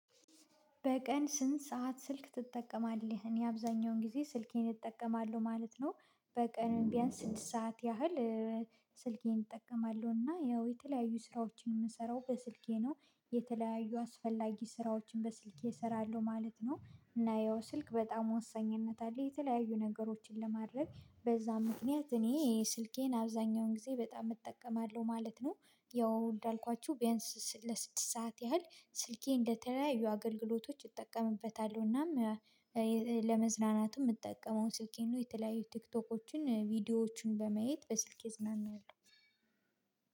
በቀን ስንት ሰዓት ስልክ ትጠቀማለህ? እኔ አብዛኛውን ጊዜ ስልኬን እጠቀማለሁ ማለት ነው። በቀን ቢያንስ ስድስት ሰዓት ያህል ስልኬን እጠቀማለሁ እና ያው የተለያዩ ስራዎችን የምሰራው በስልኬ ነው። የተለያዩ አስፈላጊ ስራዎችን በስልኬ እሰራለሁ ማለት ነው እና ያው ስልክ በጣም ወሳኝነት አለው የተለያዩ ነገሮችን ለማድረግ በዛ ምክንያት እኔ ስልኬን አብዛኛውን ጊዜ በጣም እጠቀማለሁ ማለት ነው። ያው እንዳልኳችሁ ቢያንስ ለስድስት ሰዓት ያህል ስልኬን ለተለያዩ አገልግሎቶች እጠቀምበታለው እናም ለመዝናናትም የምጠቀመው ስልኬን ነው። የተለያዩ ቲክቶኮችን ቪዲዮዎችን በማየት በስልኬ እዝናናለው።